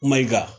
Mayiga